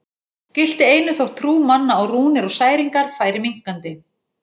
Gilti einu þótt trú manna á rúnir og særingar færi minnkandi.